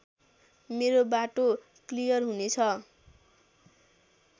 मेरो बाटो क्लियर हुनेछ